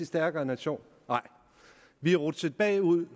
stærkere nation nej vi er rutsjet bagud